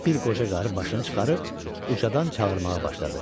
Bir qoca qarı başını çıxarıb ucadan çağırmağa başladı.